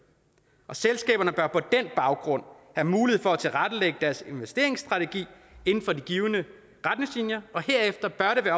og selskaberne bør på den baggrund have mulighed for at tilrettelægge deres investeringsstrategi inden for de givne retningslinjer og herefter bør det